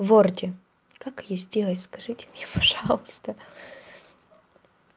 в ворде как её сделать скажите мне пожалуйста